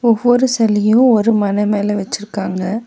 ஒவ்வொரு செலயு ஒரு மன மேல வெச்சிருக்காங்க.